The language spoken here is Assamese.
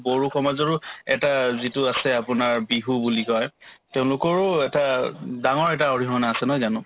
বড়ো সমাজৰো এটা যিটো আছে আপোনাৰ বিহু বুলি কই তেওঁলোকৰো এটা ডাঙৰ এটা অৰিহনা আছে নহয় জানো